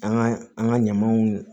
An ka an ka ɲamanw